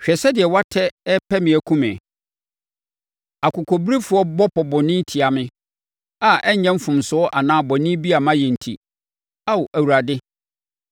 Hwɛ sɛdeɛ wɔatɛ repɛ me akum me akokobirefoɔ bɔ pɔ bɔne tia me a ɛnyɛ mfomsoɔ anaa bɔne bi a mayɛ enti, Ao Awurade.